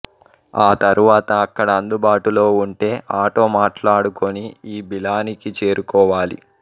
ఆ తరువాత అక్కడ అందుబాటులో ఉంటే ఆటో మాట్లాడుకొని ఈ బిలానికి చేరుకోవాలి